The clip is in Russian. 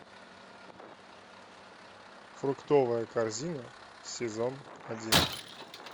фруктовая корзина сезон один